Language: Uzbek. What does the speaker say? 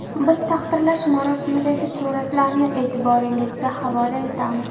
Biz taqdirlash marosimidagi suratlarni e’tiboringizga havola etamiz.